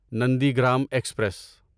Nandigram express